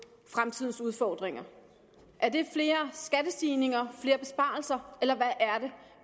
fremtidens udfordringer er det flere skattestigninger flere besparelser eller hvad er det